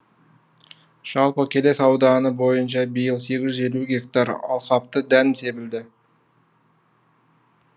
жалпы келес ауданы бойынша биыл сегіз жүз елу гектар алқапты дән себілді